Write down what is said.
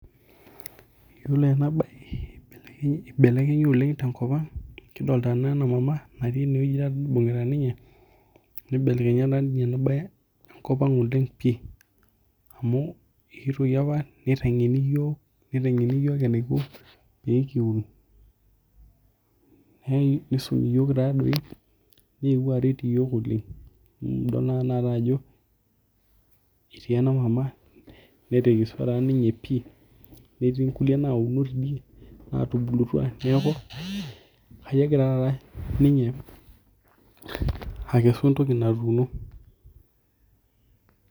Yiolo ena nae ibelekenye oleng' tenkop ang'. Idolitaa naa ena mama aati ineweji nibungita ninye nibelekenye ninye ina bar enkop ang pii. Amu eetuoki apaa nitengeni iyiok nitengeni iyiok eniko pee kiun nisumi iyiok taadoi enikoni pee kiun. Nidolitaa na atenalata ajo itii ena mama netekesua taa ninye pii netii nauno tidie netubulutua neeku ajo egira taata ninye akesu entoki naatuno.